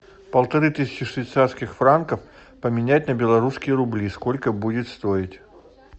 полторы тысячи швейцарских франков поменять на белорусские рубли сколько будет стоить